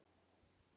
Jóhanna Ásdís.